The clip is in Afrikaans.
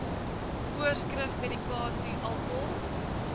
voorskrif medikasie alkohol